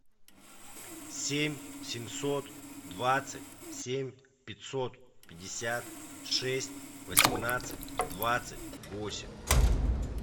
семь семьсот двадцать семь пятьсот пятьдесят шесть восемнадцать двадцать восемь